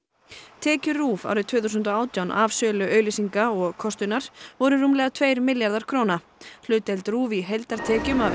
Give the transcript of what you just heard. tekjur RÚV árið tvö þúsund og átján af sölu auglýsinga og kostunar voru rúmlega tveir milljarðar króna hlutdeild RÚV í heildartekjum af